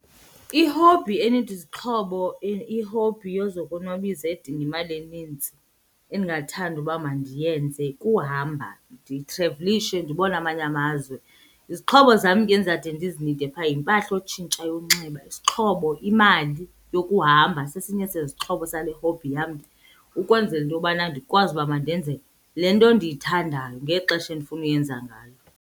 I-hobby enida izixhobo i-hobby yozokonwabisa edinga imali enintsi endingathanda uba mandiyenze kuhamba, nditravelishe ndibone amanye amazwe. Izixhobo zam ke endizade ndizinide sibe phaa yimpahla yotshintsha yokunxiba, isixhobo imali yokuhamba sesinye sezixhobo sale hobby yam ukwenzela into yobana ndikwazi uba mandenze le nto ndiyithandayo ngexesha endifuna ukuyenza ngalo.